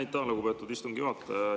Aitäh, lugupeetud istungi juhataja!